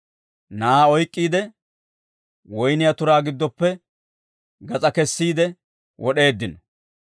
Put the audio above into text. Na'aa oyk'k'iide, woyniyaa turaa giddoppe gas'aa kessiide wod'eeddino.